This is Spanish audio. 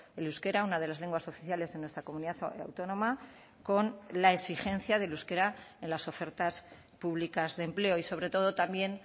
el euskera una de las lenguas oficiales en nuestra comunidad autónoma con la exigencia del euskera en las ofertas públicas de empleo y sobre todo también